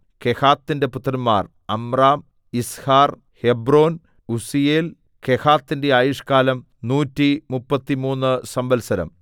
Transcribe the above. കെഹാത്തിന്റെ പുത്രന്മാർ Amram Izhar Hebron Uzziel കെഹാത്തിന്റെ ആയുഷ്കാലം നൂറ്റി മുപ്പത്തിമൂന്ന് സംവത്സരം